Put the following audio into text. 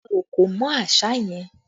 Lẹ̀ òkò mọ́ àṣá yẹn!